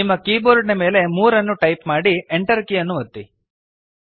ನಿಮ್ಮ ಕೀಬೋರ್ಡ್ನ ಮೇಲೆ 3 ಯನ್ನು ಟೈಪ್ ಮಾಡಿ Enter ಕೀಯನ್ನು ಒತ್ತಿರಿ